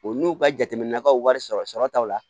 O n'u ka jateminɛkaw wari sɔrɔtaw la